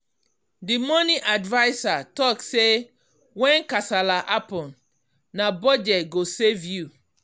the money adviser talk say when kasala happen na budget go save you.